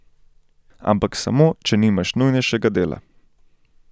Ampak samo, če nimaš nujnejšega dela.